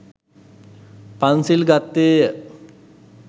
පන්සිල් ගත්තේය.